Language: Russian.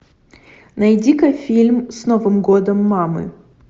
найди ка фильм с новым годом мамы